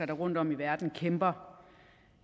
der rundtom i verden kæmper